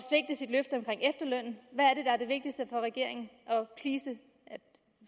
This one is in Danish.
at hvad er det vigtigste for regeringen at